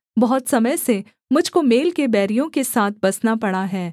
बहुत समय से मुझ को मेल के बैरियों के साथ बसना पड़ा है